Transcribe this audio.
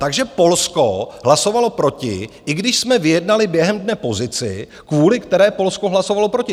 Takže Polsko hlasovalo proti, i když jsme vyjednali během dne pozici, kvůli které Polsko hlasovalo proti.